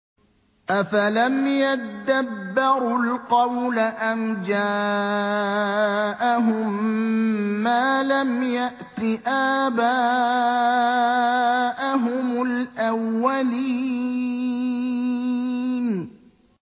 أَفَلَمْ يَدَّبَّرُوا الْقَوْلَ أَمْ جَاءَهُم مَّا لَمْ يَأْتِ آبَاءَهُمُ الْأَوَّلِينَ